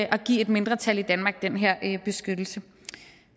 at give et mindretal i danmark den her beskyttelse